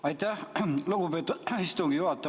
Aitäh, lugupeetud istungi juhataja!